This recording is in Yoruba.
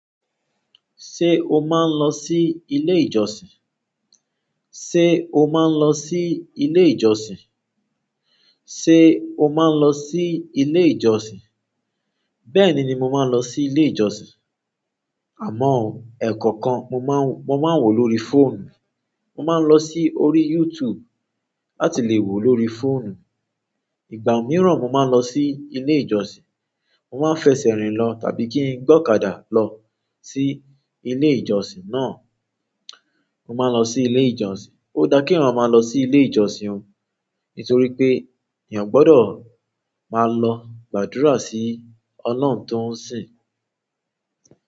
Ṣé o máa ń lọ sí ilé ìjọsìn? Ṣé o máa ń lọ sí ilé ìjọsìn? Ṣé o máa ń lọ sí ilé ìjọsìn? Bẹ́ẹ̀ ni, mo máa ń lọ sí ilé ìjọsìn àmọ́ ẹ̀ẹ̀kọ̀kan, mo máa ń-- mo máa ń wò lórí fóònù. Mo máa ń lọ sí orí YouTube láti lè wò lórí fóònù. Ìgbà mìíràn mo máa ń lọ sí ilé ìjọsìn. Mo máa ń fẹsẹ̀ rìn lọ tàbí kí n gbe ọ̀kadà lọ sí ilé ìjọsìn náà. Mo máa ń lọ sí ilé ìjọsìn. Ó da kí èèyàn máa lọ sí ilé ìjọsìn o, nítorí pé èèyàn gbọ́dọ̀ máa lọ gbàdúrà sí Ọlọ́run tó ń sìn.